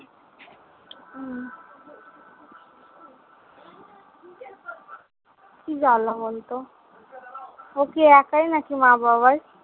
কি জ্বালা বল তো? ও কি একাই নাকি মা বাবার?